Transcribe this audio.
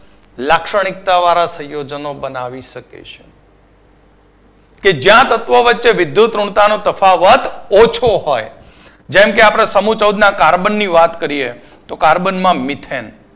વધુ લક્ષણિક્તાવાળા સહસંયોજનો બનાવી શકે છે. જ્યાં તત્વો વચ્ચે વિદ્યુતઋણતાનો તફાવત ઓછો હોય જેમકે આપણે સમુહ ચૌદના કાર્બનની વાત કરીએ તો કાર્બનમાં મિથેન